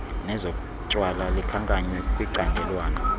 nezotywala likhankanywe kwicandelwana